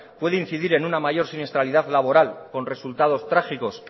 puede incidir en una mayor siniestralidad laboral con resultados trágicos